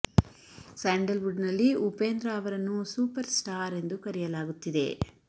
sandal wood ನಲ್ಲಿ ಉಪೇಂದ್ರ ಅವರನ್ನು superstar ಎಂದು ಕರೆಯಲಾಗುತ್ತಿದೆ